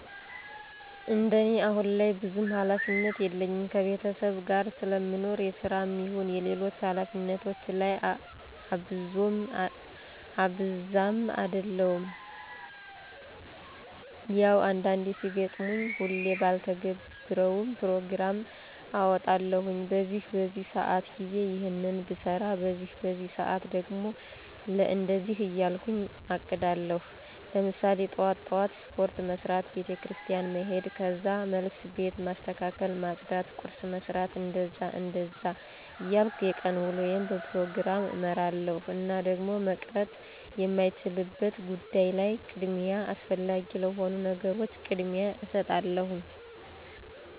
እንደኔ አሁን ላይ ብዙም ሀላፊነት የለኝም ከቤተሰብ ጋር ስለምኖር የስራም ይሁን ሌሎች ሀላፊነቶች ላይ እብዛም አደሉም። ያው አንዳንዴ ሲገጥመኝ ሁሌ ባልተገብረውም ፕሮግራም አወጣለሁኝ በዚህ በዚህ ሰአት ጊዜ ይሔንን ብሰራ በዚህ በዚህ ሰአት ደግሞ ለእንደዚህ እያልኩ አቅዳለሁኝ። ለምሳሌ ጥዋት ጥዋት ስፖርት መስራት፣ ቤተክርስቲያን መሔድ ከዛ መልስ ቤት ማስተካከል ማፅዳት ቁርስ መስራት... እንደዛ እንደዛ እያልኩ የቀን ውሎየን በፕሮግራም እመራለሁኝ። እና ደግሞ መቅረት የማይቻልበት ጉዳይ ላይ ቅድሚያ አስፈላጊ ለሆኑ ነገሮች ቅድሚያ እሰጣለሁኝ።